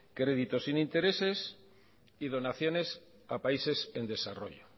créditos sin intereses y donaciones a países en desarrollo